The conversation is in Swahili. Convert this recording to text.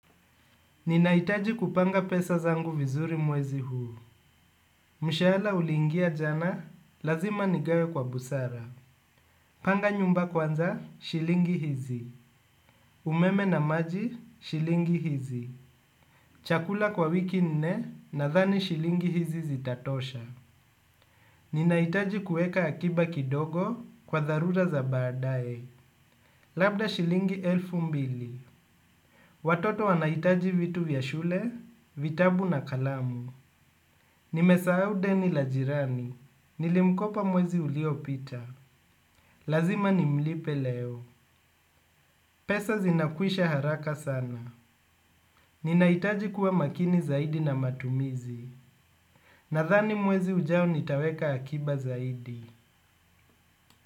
Ninahitaji kupanga pesa zangu vizuri mwezi huu. Mshahala uliingia jana, lazima nigawe kwa busara. Panga nyumba kwanza, shilingi hizi. Umeme na maji, shilingi hizi. Chakula kwa wiki nne, nadhani shilingi hizi zitatosha. Ninahitaji kueka akiba kidogo kwa dharura za baadaye. Labda shilingi elfu mbili. Watoto wanahitaji vitu vya shule, vitabu na kalamu. Nimesahau deni la jirani. Nilimkopa mwezi uliopita. Lazima nimlipe leo. Pesa zinakwisha haraka sana. Ninahitaji kuwa makini zaidi na matumizi. Nadhani mwezi ujao nitaweka akiba zaidi.